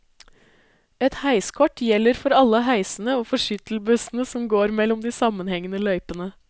Et heiskort gjelder for alle heisene og for skyttelbussene som går mellom de sammenhengende løypene.